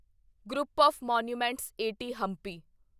group of monuments at Hampi